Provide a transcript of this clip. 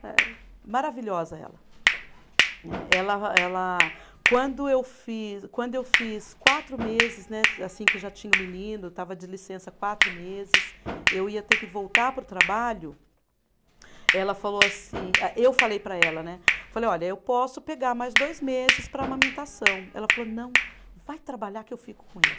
É maravilhosa ela, né, ela ela quando eu fiz, quando eu fiz quatro meses né, assim que já tinha o menino estava de licença quatro meses, eu ia ter que voltar para o trabalho, ela falou assim, eu falei para ela né, falei olha eu posso pegar mais dois meses para amamentação ela falou não, vai trabalhar que eu fico com ele